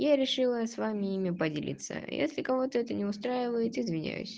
я решила с вами ими поделиться если кого-то это не устраивает извиняюсь